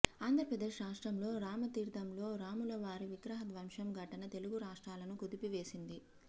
ఆంధ్రప్రదేశ్ రాష్ట్రంలో రామతీర్థంలో రాములవారి విగ్రహ ధ్వంసం ఘటన తెలుగు రాష్ట్రాలను కుదిపివేసింది